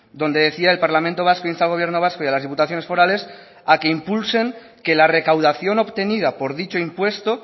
donde decía el parlamento vasco insta al gobierno vasco y a las diputaciones forales a que impulsen que la recaudación obtenida por dicho impuesto